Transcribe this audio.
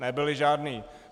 Nebyly žádné!